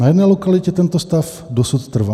Na jedné lokalitě tento stav dosud trvá.